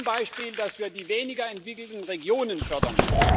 Zum Beispiel, dass wir die weniger entwickelten Regionen fördern.